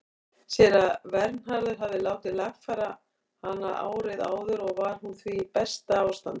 Séra Vernharður hafði látið lagfæra hana árið áður og var hún því í besta ástandi.